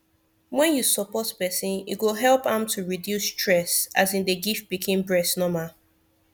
when you support person e go help am to reduce stess as im dey give pikin breast normal